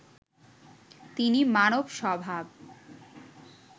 তিনি মানব স্বভাব